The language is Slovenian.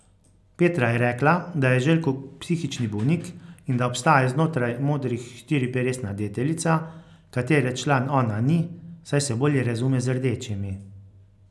Petra je rekla, da je Željko psihični bolnik in da obstaja znotraj modrih štiriperesna deteljica, katere član ona ni, saj se bolj razume z rdečimi.